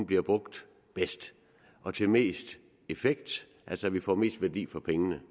bliver brugt bedst og til mest effekt altså at vi får mest værdi for pengene